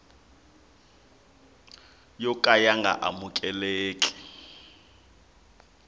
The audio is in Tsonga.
yo ka ya nga amukeleki